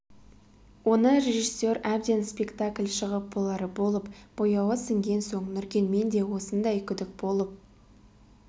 оны режиссер әбден спектакль шығып болары болып бояуы сіңген соң нұркен менде осындай күдік болып